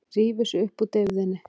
Rífur sig upp úr deyfðinni.